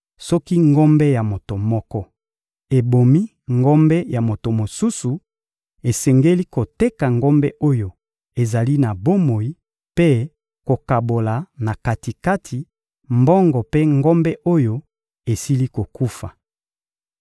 Soki ngombe ya moto moko ebomi ngombe ya moto mosusu, esengeli koteka ngombe oyo ezali na bomoi mpe kokabola na kati-kati mbongo mpe ngombe oyo esili kokufa.